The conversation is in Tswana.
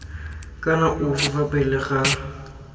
kana ofe fa pele ga